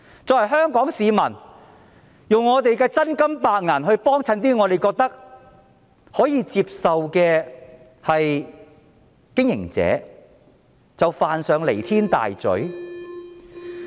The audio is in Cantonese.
作為香港市民，我們花真金白銀光顧一些我們認為可接受的經營者，便是犯上彌天大罪嗎？